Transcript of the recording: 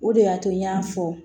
O de y'a to n y'a fɔ